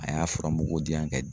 A y'a fura mugu di yan